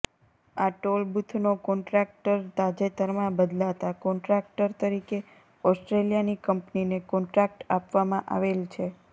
આ ટોલ બુથનો કોન્ટ્રાક્ટર તાજેતરમાં બદલાતા કોન્ટ્રાક્ટર તરીકે ઓસ્ટ્રેલીયાની કંપનીને કોન્ટ્રાક્ટ આપવામાં આવેલ છે